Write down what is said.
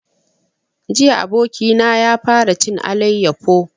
Jiya abokina ya fara cin alayyafo